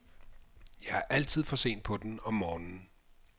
Jeg er altid for sent på den om morgenen.